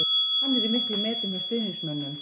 Hann er í miklum metum hjá stuðningsmönnum.